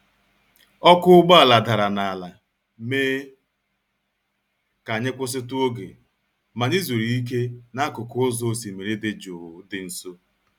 ọkụ́ ụgbọala dara n'ala mee ka anyị kwụsịtụ oge, ma anyị zuru ike n'akụkụ ụzọ osimiri dị jụụ dị nso.